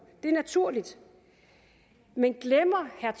det er naturligt men glemmer herre